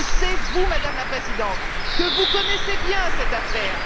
Et je sais, Madame la Présidente, que vous connaissez bien cette affaire.